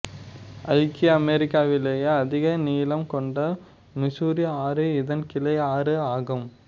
ஐக்கிய அமெரிக்காவிலேயே அதிக நீளம் கொண்ட மிசூரி ஆறு இதன் கிளை ஆறு ஆகும்